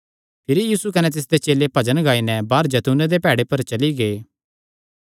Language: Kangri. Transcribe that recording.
भिरी सैह़ भजन गाई नैं बाहर जैतूने दे प्हाड़े पर चली गै